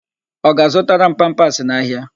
Ọ ga-azụtara m pampasị n'ahịa?